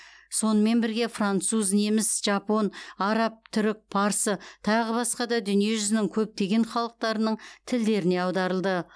сонымен бірге француз неміс жапон араб түрік парсы тағы басқа да дүниежүзінің көптеген халықтарының тілдеріне аударылды